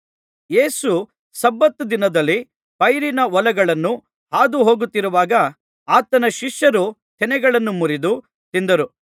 ಯೇಸು ಸಬ್ಬತ್ ದಿನದಲ್ಲಿ ಪೈರಿನ ಹೊಲಗಳನ್ನು ಹಾದುಹೋಗುತ್ತಿರುವಾಗ ಆತನ ಶಿಷ್ಯರು ತೆನೆಗಳನ್ನು ಮುರಿದು ತಿಂದರು